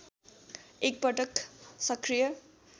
एक पटक सकृय